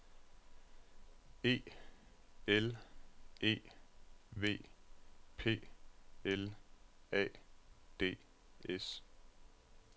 E L E V P L A D S